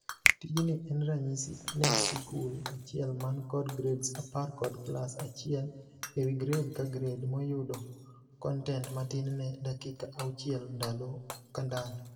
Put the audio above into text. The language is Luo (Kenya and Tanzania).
Tijni en ranyisi ne sikul achiel man kod grades apar kod class achiel ewii grade ka grade mayudo kontent matin ne dakika auchiel ndalo kandalo.